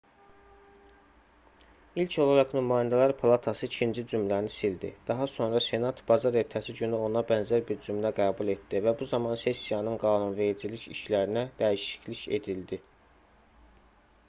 i̇lk olaraq nümayəndələr palatası ikinci cümləni sildi daha sonra senat bazar ertəsi günü ona bənzər bir cümlə qəbul etdi və bu zaman sessiyanın qanunvericilik işlərinə dəyişiklik edildi